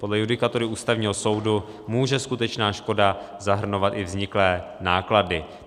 Podle judikatury Ústavního soudu může skutečná škoda zahrnovat i vzniklé náklady.